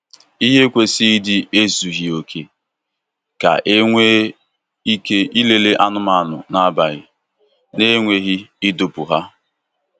Ìhè kwesị ịdị ezughi oke ka e nwee ike ilele anụmanụ n'abalị na-enweghị ịdọpụ ha.